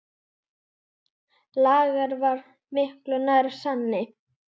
Lager var miklu nær sanni.